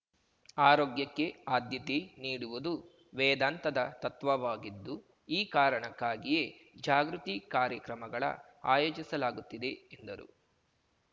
ಆರೋಗ್ಯಕ್ಕೆ ಆದ್ಯತೆ ನೀಡುವುದು ವೇದಾಂತದ ತತ್ವವಾಗಿದ್ದು ಈ ಕಾರಣಕ್ಕಾಗಿಯೇ ಜಾಗೃತಿ ಕಾರ್ಯಕ್ರಮಗಳ ಆಯೋಜಿಸಲಾಗುತ್ತಿದೆ ಎಂದರು